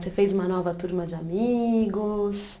Você fez uma nova turma de amigos?